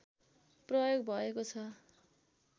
प्रयोग भएको छ